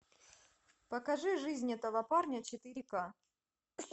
покажи жизнь этого парня четыре к